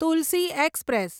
Tulsi express